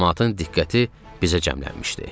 Camaatın diqqəti bizə cəmlənmişdi.